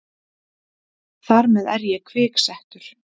Þar með er ég kviksettur.